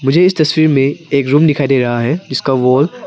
इस तस्वीर में एक रूम दिखाई दे रहा है जिसका वॉल --